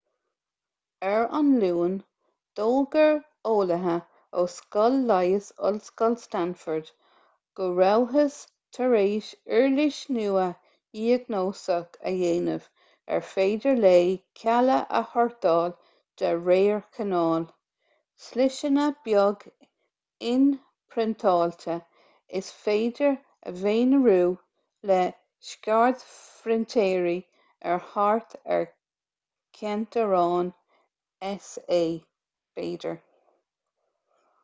ar an luan d'fhógair eolaithe ó scoil leighis ollscoil stanford go rabhthas tar éis uirlis nua dhiagnóiseach a dhéanamh ar féidir léi cealla a shórtáil de réir cineáil sliseanna beag inphriontáilte is féidir a mhonarú le scairdphrintéirí ar thart ar ceint amháin s.a. b'fhéidir